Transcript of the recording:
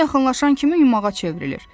Ona yaxınlaşan kimi yumağa çevrilir.